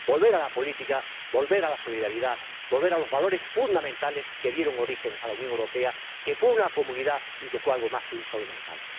Volver a la política, volver a la solidaridad, volver a los valores fundamentales que dieron origen a la Unión Europea, que fue una comunidad y que fue algo más que sólo un mercado.